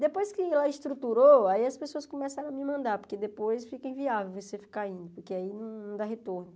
Depois que ela estruturou, aí as pessoas começaram a me mandar, porque depois fica inviável você ficar indo, porque aí não não dá retorno.